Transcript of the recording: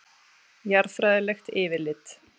Jarðfræðilegt yfirlit.